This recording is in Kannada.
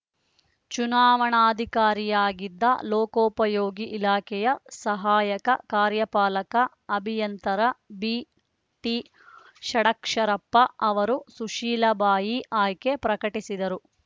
ಚುನಾವಣಾಧಿಕಾರಿಯಾಗಿದ್ದ ಲೋಕೋಪಯೋಗಿ ಇಲಾಖೆಯ ಸಹಾಯಕ ಕಾರ್ಯಪಾಲಕ ಅಭಿಯಂತರ ಬಿಟಿಷಡಕ್ಷರಪ್ಪ ಅವರು ಸುಶೀಲಬಾಯಿ ಆಯ್ಕೆ ಪ್ರಕಟಿಸಿದರು